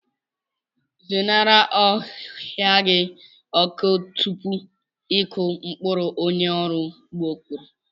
Zenarị ohia gị ọkụ tupu ịkụ mkpụrụ, onye ọrụ ugbo kwuru.